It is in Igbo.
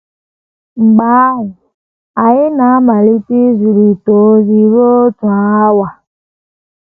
Mgbe ahụ, anyị um na - um amalite izirịta ozi um ruo otu awa.